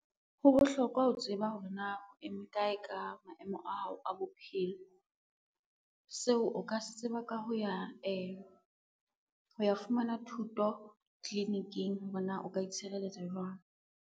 Ho bohlokwa ho tseba hore na o eme kae ka maemo a hao a bophelo. Seo o ka se tseba ka ho ya fumana thuto tliliniking hore na o ka itshireletsa jwang.